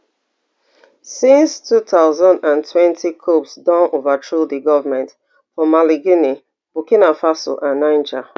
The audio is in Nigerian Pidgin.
since two thousand and twenty coups don overthrow di governments for mali guinea burkina faso and niger